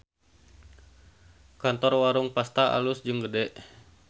Kantor Warung Pasta alus jeung gede